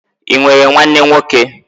I nwere nwanne nwoke?